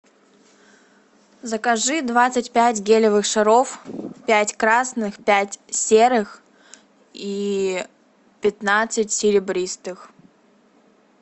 закажи двадцать пять гелевых шаров пять красных пять серых и пятнадцать серебристых